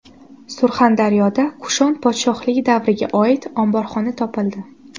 Surxondaryoda Kushon podshohligi davriga oid omborxona topildi .